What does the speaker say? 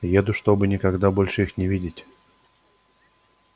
уеду чтобы никогда больше их не видеть